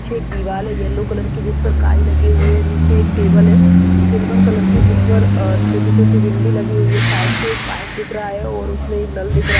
पीछे एक दीवारहै येल्लो कलर की जिसपर काई लगी हुई है नीचे एक टेबल है सिल्वर कलर की जिसपर अह छोटी छोटी बिंदी लगी हुई है शायद से एक पाइप दिख रहा है और उसमे एक नल दिखा रहा--